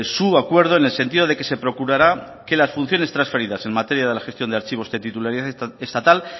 su acuerdo en el sentido de que se procurara que las funciones transferidas en materia de la gestión de archivos de titularidad estatal